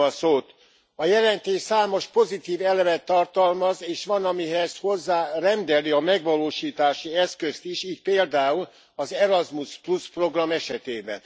A jelentés számos pozitív elemet tartalmaz, és van, amihez hozzárendeli a megvalósítási eszközt is, így például az Erasmus program esetében.